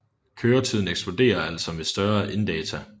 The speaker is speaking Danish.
Køretiden eksploderer altså med større inddata